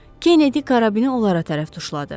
Kennedy karabini onlara tərəf tuşladı.